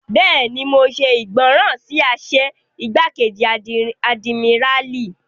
Bẹ́ẹ̀ni, mo ṣe ìgbọràn sí àṣẹ igbákejì àdìmíràlí